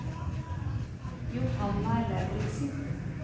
Johanna Lauritzen